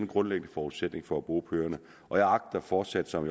grundlæggende forudsætning for at bo på øerne og jeg agter fortsat som